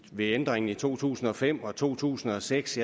ved ændringen i to tusind og fem og to tusind og seks